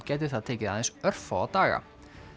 gæti það tekið aðeins örfáa daga